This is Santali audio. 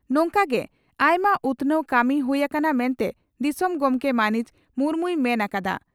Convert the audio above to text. ᱱᱚᱝᱠᱟᱜᱮ ᱟᱭᱢᱟ ᱩᱛᱷᱱᱟᱹᱣ ᱠᱟᱹᱢᱤ ᱦᱩᱭ ᱟᱠᱟᱱᱟ ᱢᱮᱱᱛᱮ ᱫᱤᱥᱚᱢ ᱜᱚᱢᱠᱮ ᱢᱟᱹᱱᱤᱡ ᱢᱩᱨᱢᱩᱭ ᱢᱮᱱ ᱟᱠᱟᱫᱼᱟ ᱾